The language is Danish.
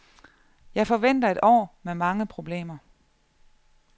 Jeg forventer et år med mange problemer.